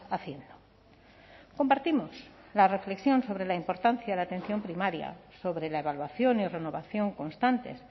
haciendo compartimos la reflexión sobre la importancia de la atención primaria sobre la evaluación y renovación constante